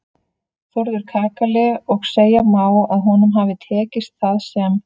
Þórður kakali og segja má að honum hafi tekist það sem